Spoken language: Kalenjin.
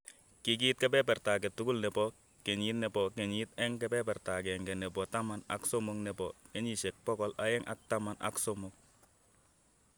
Ki kiit kebeberta age tugul ne po kenyiit ne po kenyiit kebeberta agenge ne po taman ak somok ne po kenyiisyek pogol aeng' ak taman ak somok.